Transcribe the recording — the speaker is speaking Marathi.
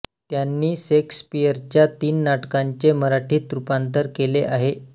त्यांनी शेक्सपियरच्या तीन नाटकांचे मराठीत रूपांतर केले आहे